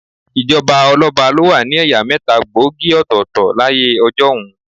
Ìjọba ọlọ́ba ló wà ní ẹ̀yà mẹ́ta gbòógì òtọ̀ọ̀tọ̀ láyé ọjọ́un.